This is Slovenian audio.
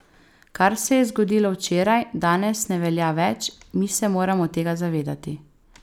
Kar se je zgodilo včeraj, danes ne velja več, mi se moramo tega zavedati.